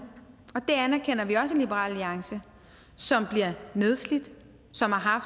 det anerkender vi også i liberal alliance som bliver nedslidt som har